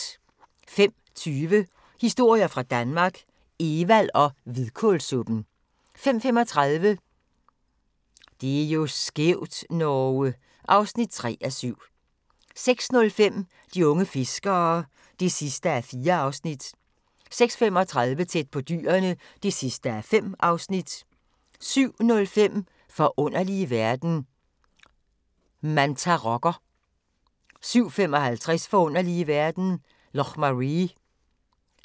05:20: Historier fra Danmark - Evald og hvidkålssuppen 05:35: Det er jo skævt, Norge! (3:7) 06:05: De unge fiskere (4:4) 06:35: Tæt på dyrene (5:5) 07:05: Forunderlige verden – Mantarokker 07:55: Forunderlige verden - Loch Maree